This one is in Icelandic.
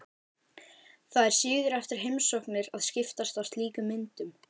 Það er siður eftir heimsóknir að skiptast á slíkum myndum.